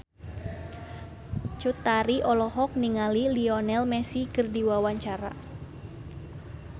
Cut Tari olohok ningali Lionel Messi keur diwawancara